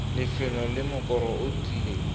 lefelo le mokoro o tlileng